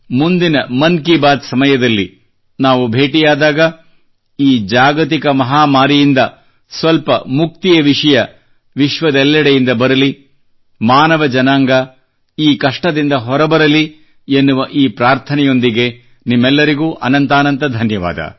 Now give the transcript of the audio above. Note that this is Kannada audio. ಮುಂದಿನ ಮನ್ ಕಿ ಬಾತ್ ಸಮಯದಲ್ಲಿ ನಾವು ಭೇಟಿಯಾದಾಗ ಈ ಜಾಗತಿಕ ಮಹಾಮಾರಿಯಿಂದ ಸ್ವಲ್ಪ ಮುಕ್ತಿಯ ವಿಷಯ ವಿಶ್ವದೆಲ್ಲೆಡೆಯಿಂದ ಬರಲಿ ಮಾನವ ಜನಾಂಗ ಈ ಕಷ್ಟದಿಂದ ಹೊರ ಬರಲಿ ಎನ್ನುವ ಈ ಪ್ರಾರ್ಥನೆಯೊಂದಿಗೆ ನಿಮ್ಮೆಲ್ಲರಿಗೂ ಅನಂತಾನಂತ ಧನ್ಯವಾದ